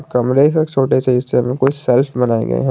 कमरे का छोटे से हिस्से में कोई सेल्फ बनाए गए हैं।